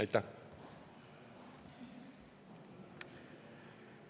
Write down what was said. Aitäh!